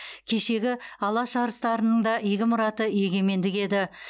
кешегі алаш арыстарының да игі мұраты егемендік еді